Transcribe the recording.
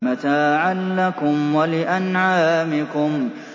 مَتَاعًا لَّكُمْ وَلِأَنْعَامِكُمْ